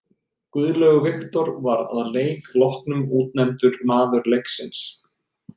Guðlaugur Victor var að leik loknum útnefndur maður leiksins.